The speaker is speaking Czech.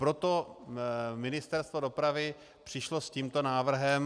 Proto Ministerstvo dopravy přišlo s tímto návrhem.